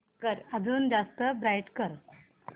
अजून जास्त ब्राईट कर